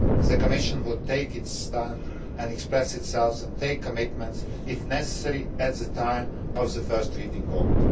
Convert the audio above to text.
The Commission will take its stand, express itself and make commitments, if necessary, at the time of the first reading vote.